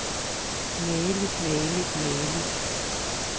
mageligt mageligt mageligt